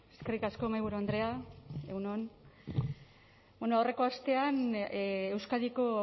eskerrik asko mahaiburu andrea egun on bueno aurreko astean euskadiko